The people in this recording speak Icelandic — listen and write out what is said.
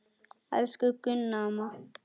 Elsku Gunna amma.